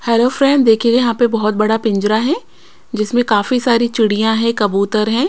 Hello friend देखिए यहां पे बहुत बड़ा पिंजरा है जिसमें काफी सारी चिड़ियां हैं कबूतर हैं।